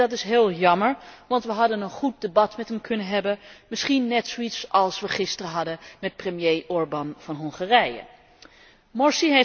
Dat is heel jammer, want we hadden een goed debat met hem kunnen hebben, misschien net zoiets als we gisteren met premier Orbán van Hongarije hebben gehad.